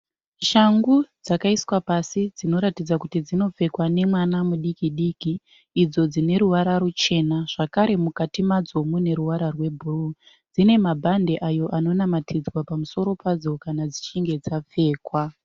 Shangu dzakaiswa pasi dzinoratidza kuti dzinopfekwa nemwana mudiki-diki idzo dzine ruvara ruchena zvakare mukati madzo mune ruvara rwebhuruu. Dzine mabhandi ayo anonamatidzwa pamusoro padzo kana dzichinge dzapfekwa.